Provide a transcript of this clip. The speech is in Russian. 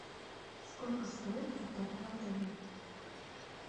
сколько стоит каток в отеле